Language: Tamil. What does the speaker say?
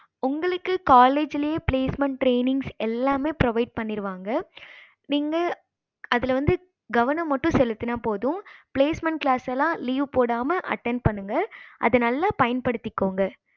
உங்களுக்கு college லையே placement tranings எல்லாமே provide பண்ணிருவாங்க நீங்க அதுல வந்து கவனம் மட்டும் செலுத்தனா போதும் placement class எல்லாம் leave போடாம attend பண்ணுங்க அத நல்ல பயன்படுத்திகோங்க